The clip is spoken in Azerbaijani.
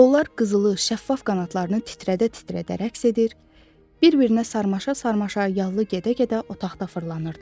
Onlar qızılı, şəffaf qanadlarını titrədə-titrədə rəqs edir, bir-birinə sarmaşa-sarmaşa yallı gedə-gedə otaqda fırlanırdılar.